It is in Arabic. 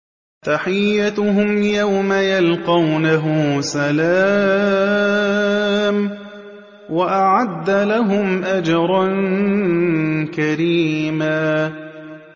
تَحِيَّتُهُمْ يَوْمَ يَلْقَوْنَهُ سَلَامٌ ۚ وَأَعَدَّ لَهُمْ أَجْرًا كَرِيمًا